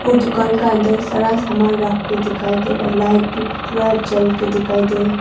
और दुकान का अंदर सारा सामान रख के दिखाई दे रहा है लाइट भी पूरा जल के दिखाई दे रहा है।